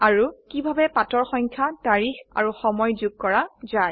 আৰু কিভাবে পাতৰ সংখ্যা তাৰিখ আৰু সময় যোগ কৰা যায়